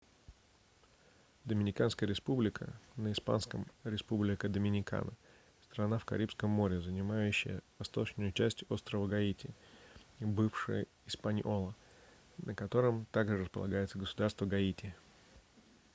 доминиканская республика на испанском: республика доминикана — страна в карибском море занимающая восточную часть острова гаити бывший испаньола на котором также располагается государство гаити